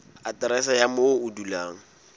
aterese ya moo o dulang